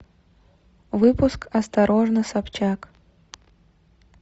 выпуск осторожно собчак